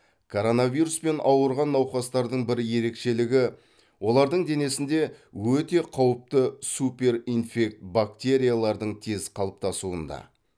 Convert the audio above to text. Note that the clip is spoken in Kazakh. коронавируспен ауырған науқастардың бір ерекшелігі олардың денесінде өте қауіпті суперинфект бактериялардың тез қалыптасуында